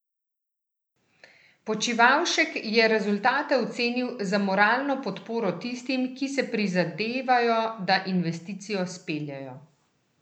Počivalšek je rezultate ocenil za moralno podporo tistim, ki si prizadevajo da investicijo speljejo.